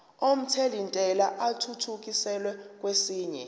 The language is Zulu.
omthelintela athuthukiselwa kwesinye